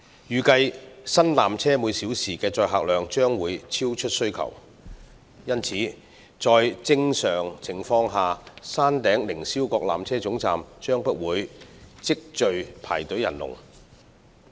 預計新纜車每小時的載客量將會超出需求，因此在正常情況下，山頂凌霄閣纜車總站將不會積聚排隊人龍。